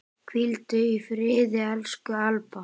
Hvíldu í friði, elsku Alda.